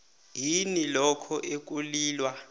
yini lokho ekulilwa